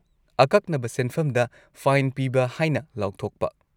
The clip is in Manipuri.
ꯑꯀꯛꯅꯕ ꯁꯦꯟꯐꯝꯗ ꯐꯥꯏꯟ ꯄꯤꯕ ꯍꯥꯏꯅ ꯂꯥꯎꯊꯣꯛꯄ꯫